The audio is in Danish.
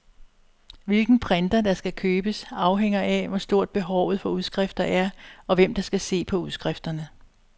Hvilken printer, der skal købes, afhænger af, hvor stort behovet for udskrifter er, og hvem der skal se på udskrifterne.